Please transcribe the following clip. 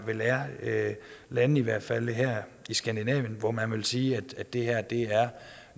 vil være lande i hvert fald her i skandinavien hvor man vil sige at det her er